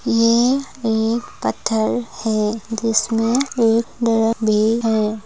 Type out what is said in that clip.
यह एक पत्थर है जिसमे एक ड्रम भी है।